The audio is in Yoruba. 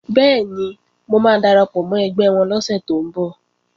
Bẹ́ẹ̀ni, mo máa darapọ̀ mọ́ ẹgbẹ́ wọn lọ́sẹ̀ tó ń bọ̀